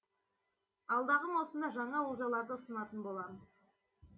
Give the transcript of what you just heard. алдағы маусымда жаңа олжаларды ұсынатын боламыз